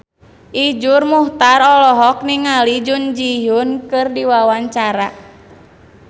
Iszur Muchtar olohok ningali Jun Ji Hyun keur diwawancara